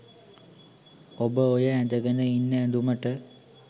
ඔබ ඔය ඇඳගෙන ඉන්න ඇඳුමට